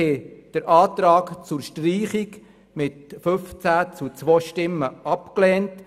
Der Antrag zur Streichung wurde mit 15 gegen 2 Stimmen abgelehnt.